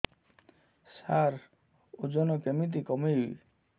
ସାର ଓଜନ କେମିତି କମେଇବି